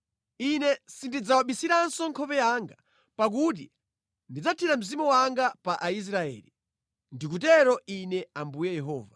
Ine sindidzawabisiranso nkhope yanga, pakuti ndidzathira Mzimu wanga pa Aisraeli. Ndikutero Ine Ambuye Yehova.”